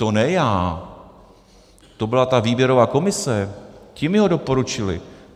To ne já, to byla ta výběrová komise, ti mi ho doporučili.